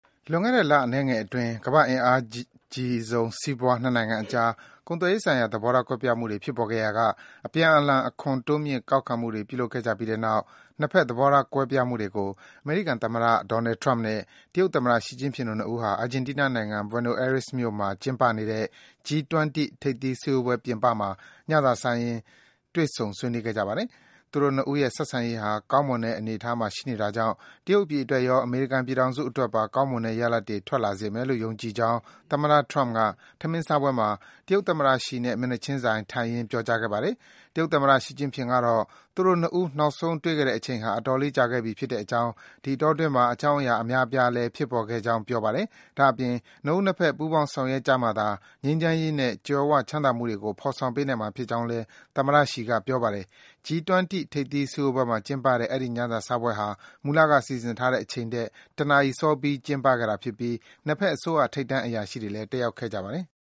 လွန်ခဲ့တဲ့လအနည်းငယ်အတွင်း ကမ္ဘာ့အင်အားအကြီးဆုံးစီးပွားရေး နှစ်နိုင်ငံအကြား ကုန်သွယ်ရေး ဆိုင်ရာ သဘောထားကွဲပြားမှုတွေ ဖြစ်ပေါ်ခဲ့ရာက အပြန်အလှန် အခွန်တိုးမြှင့်ကောက်ခံမှုတွေ ပြုလုပ်ခဲ့ကြပြီးတဲ့နောက် နှစ်ဘက် မပြေလည်မှုတွေကို ဆွေးနွေးကြဖို့အတွက် အမေရိကန်သမ္မတ Donald Trump နဲ့ တရုတ်သမ္မတ ရှီကျင့်ဖျင်တို့နှစ်ဦးဟာ အာဂျင်တီးနားနိုင်ငံ Buenos Aires မြို့မှာ ကျင်းပနေတဲ့ G-20 ထိပ်သီး စည်းဝေးပွဲပြင်ပမှာ ညစာစားရင်း သီးခြား တွေ့ဆုံခဲ့ကြပါတယ်။ သူတို့ ၂ ဦးရဲ့ဆက်ဆံရေးဟာ ကောင်းမွန်တဲ့အနေအထားမှာ ရှိနေတာကြောင့် တရုတ်ပြည် အတွက်ရော၊ အမေရိကန် ပြည်ထောင်စုအတွက်ပါ ကောင်းမွန်တဲ့ရလဒ်တွေ ထွက်လာစေမယ်လို့ ယုံကြည်ကြောင်း သမ္မတ Trump က ထမင်းစားပွဲမှာ တရုတ်သမ္မတရှီနဲ့ မျက်နှာချင်းဆိုင် ထိုင်ရင်း ပြောကြားခဲ့ပါတယ်။ တရုတ်သမ္မတ ရှီကျင့်ဖျင်ကတော့ - သူတို့ ၂ ဦး နောက်ဆုံး တွေ့ခဲ့တဲ့အချိန်ဟာ အတော်လေး ကြာခဲ့ပြီ ဖြစ်ကြောင်း၊ ဒီအတောအတွင်းမှာ အကြောင်းအရာ အများအပြားလည်း ဖြစ်ပေါ်ခဲ့ကြောင်း ပြောပါ တယ်။ ဒါ့အပြင် နှစ်ဦးနှစ်ဘက် ပူးပေါင်းဆောင်ရွက်ကြမှသာ ငြိမ်းချမ်းရေးနဲ့ ကြွယ်ဝချမ်းသာမှုကို ဖော်ဆောင်ပေးနိုင်မှာ ဖြစ်ကြောင်းလည်း သမ္မတ ရှီက ပြောပါတယ်။ G-20 ထိပ်သီး စည်းဝေးပွဲအပြီးမှာ ကျင်းတဲ့ အဲဒီ ညစာစားပွဲဟာ မူလက စီစဉ်ထားတဲ့အချိန်ထက် တနာရီ စောပြီး ကျင်းပခဲ့တာဖြစ်ပြီး နှစ်ဘက်အစိုးရက ထိပ်တန်း အရာရှိတွေလည်း တက်ရောက်ခဲ့ကြပါတယ်။